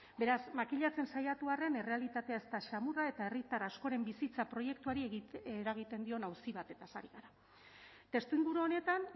beraz makillatzen saiatu arren errealitatea ez da samurra eta herritar askoren bizitza proiektuari eragiten dion auzi batez ari gara testuinguru honetan